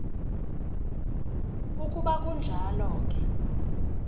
ukuba kunjalo ke